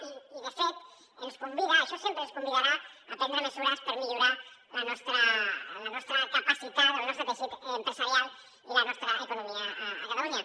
i de fet ens convida a això sempre ens convidarà a prendre mesures per millorar la nostra capacitat el nostre teixit empresarial i la nostra economia a catalunya